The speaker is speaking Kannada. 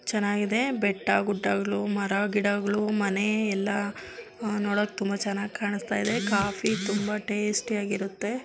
ಚೆನ್ನಾಗಿದೆ ಬೆಟ್ಟ ಗುಡ್ಡಗಳು ಮರ ಗಿಡಗಳು ಮನೆ ಎಲ್ಲಾಆಹ್ ನೋಡಕ್ಕೆ ತುಂಬಾ ಚೆನ್ನಾಗಿ ಕಾಣಸ್ತ ಇದೆ. ಕಾಫೀ ತುಂಬಾ ಟೇಸ್ಟಿ ಅಗಿರುತ್ತೆ.